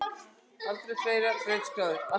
Aldrei fleiri brautskráðir